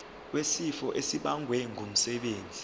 wesifo esibagwe ngumsebenzi